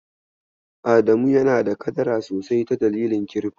Adamu yana da kadara sosai ta dalilin kirifto.